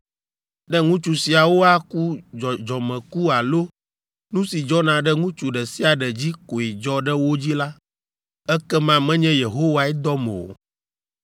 Ne ŋutsu siawo aku dzɔdzɔmeku alo nu si dzɔna ɖe ŋutsu ɖe sia ɖe dzi koe dzɔ ɖe wo dzi la, ekema menye Yehowae dɔm o.